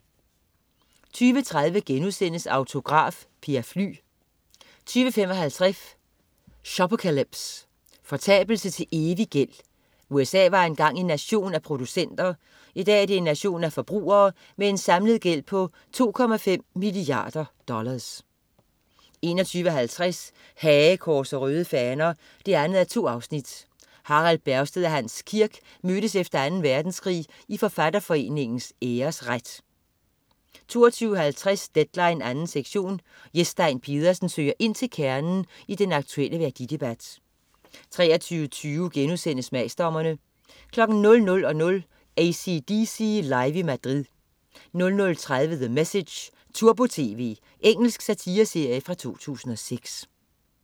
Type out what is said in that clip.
20.30 Autograf: Per Fly* 20.55 Shopocalypse. Fortabelse til evig gæld. USA var engang en nation af producenter. I dag er det en nation af forbrugere med en samlet gæld på 2,5 milliarder dollars 21.50 Hagekors og Røde Faner 2:2. Harald Bergstedt og Hans Kirk mødtes efter Anden Verdenskrig i Forfatterforeningens Æresret 22.50 Deadline 2. sektion. Jes Stein Pedersen søger ind til kernen i den aktuelle værdidebat 23.20 Smagsdommerne* 00.00 AC/DC Live i Madrid 00.30 The Message, turbo-tv. Engelsk satireserie fra 2006